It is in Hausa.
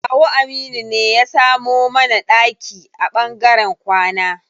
Kawu Aminu ne ya samo mana ɗaki a ɓangaren kwana.